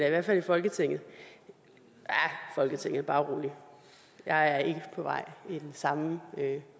i hvert fald i folketinget ja folketinget bare rolig jeg er ikke på vej til den samme